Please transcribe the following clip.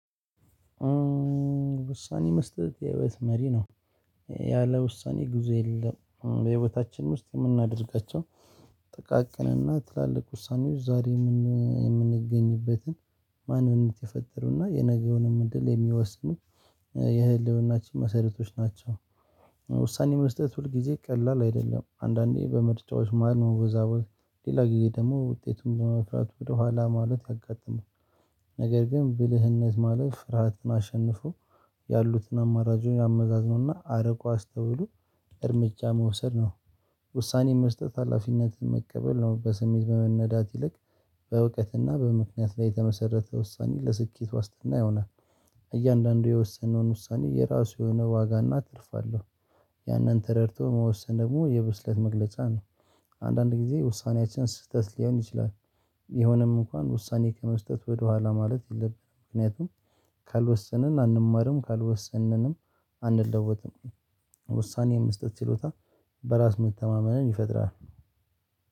ውሳኔ መስጠት የህይወት መሪ ነው ያለ ውሳኔ ግዙ የለም በህይወታችን ውስጥ እምናደርጋቸው ጥቃቅንና ትላልቅ ውሳኔዎች ዛሬ የምንገኝበትን ማንነት የፈጠሩና የነገውንም እድል የሚወስኑ የህልውናችን መሰረቶች ናቸው። ውሳኔ መስጠት ሁል ጊዜ ቀላል አይደለም አንዳንዴ በምርጫዎች መሃል መወዛወዝ ሌላ ጊዜ ደሞ ውጤቱን በመፍራት ወደኋላ ማለት ያጋጥማል። ነገር ግን ብልህነት ማለት ፍርሃትን አሸንፎ ያሉትን አማራጮች አመዛዝኖ እና አርቆ አስተውሎ እርምጃ መውሰድ ነው። ውሳኔ መስጠት ሀላፊነትን መቀበል ነው። በስሜት ከመነዳት ይልቅ በእውቀትና በምክንያት ላይ የተመሰረተ ውሳኔ ለስኬት ዋስትና ይሆናል። እያንዳንዱ የወሰነውን ውሳኔ የራሱ የሆነ ዋጋና ትርፋ አለሁ። ያንን ተረድቶ መወሰን ደግሞ የብስለት መግለጫ ነው። አንዳንድ ጊዜ ውሳኔያችን ስህተት ሊሆን ይችላል። ቢሆንም እንኳን ውሳኔ ከመስጠት ወደኋላ ማለት የለብንም። ምክንያቱም ካልወሰንን አንማርም ካልወሰንም አንለወጥም። ውሳኔ የመስጠት ችሎታ በራስ መተማመንን ይፈጥራል።